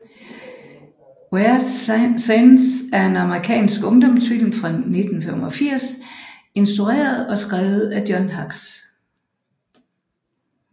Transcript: Weird Science er en amerikansk ungdomsfilm fra 1985 instrueret og skrevet af John Hughes